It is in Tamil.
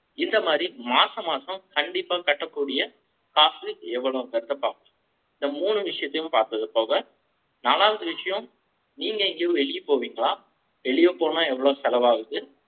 இந்த மாதிரி மாசம், மாசம் கண்டிப்பா கட்டக்கூடிய, காசு எவ்வளவுன்றதை பார்ப்போம். இந்த மூணு விஷயத்தையும் பார்த்தது போக, நாலாவது விஷயம், நீங்க எங்கேயோ வெளிய போவீங்களா? வெளிய போனா, எவ்வளவு செலவாகுது